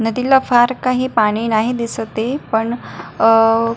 नदीला फार काही पाणी नाही दिसत आहे पण अह--